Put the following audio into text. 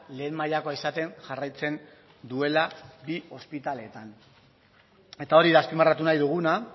lehen mailakoa izaten jarraitzen duela bi ospitaleetan eta hori da azpimarratu nahi duguna